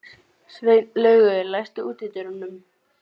Sveinlaugur, læstu útidyrunum.